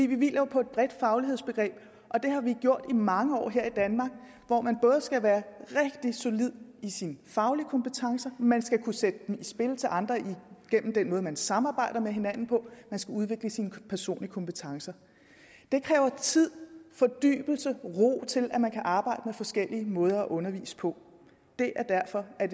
vi hviler på et bredt faglighedsbegreb det har vi gjort i mange år her i danmark hvor man både skal være rigtig solid i sine faglige kompetencer man skal kunne sætte dem i spil til andre igennem den måde man samarbejder på med hinanden på man skal udvikle sine personlige kompetencer det kræver tid fordybelse ro til at man kan arbejde med forskellige måder at undervise på det er derfor